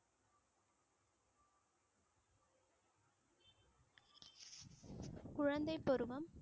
குழந்தைப் பருவம்